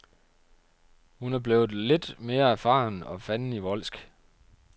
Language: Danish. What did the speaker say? Hun er blevet lidt mere erfaren og fandenivoldsk.